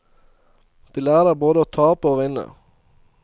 De lærer både å tape og å vinne.